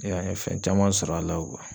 an ye fɛn caman sɔr'a la .